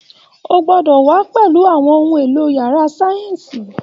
O gbọ́dọ̀ wà á pẹ̀lú àwọn ohun èlò yàrá sáyẹ́ǹsì